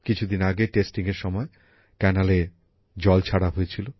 কিছুদিন আগে পরীক্ষামূলকভাবে খালে জল ছাড়া হয়েছিল